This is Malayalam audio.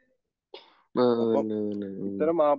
ആ അതന്നെ